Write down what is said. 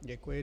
Děkuji.